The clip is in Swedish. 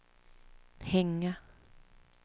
hänga